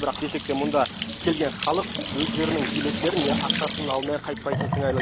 бірақ десек те мұнда келген халық өздерінің билеттерін не ақшасын алмай қайтпайтын сыңайлы